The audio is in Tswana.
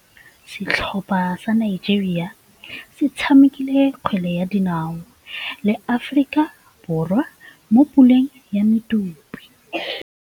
Setlhopha sa Nigeria se tshamekile kgwele ya dinaô le Aforika Borwa mo puleng ya medupe.